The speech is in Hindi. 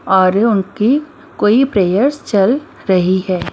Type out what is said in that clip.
और उनकी कोई प्रेयर चल रही है।